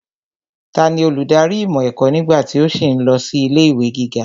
Tani olùdarí ìmọ̀ ẹ̀kọ́ nígbà tí ó sì ń lọ sí ilé ìwé gíga?